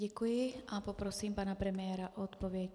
Děkuji a poprosím pana premiéra o odpověď.